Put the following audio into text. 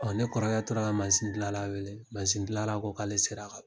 Ɔ ne kɔrɔkɛ tora ka masindilanla wele masindilanla ko k'ale sera ka